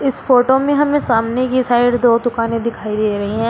इस फोटो में हमें सामने की साइड दो दुकानें दिखाई दे रही हैं।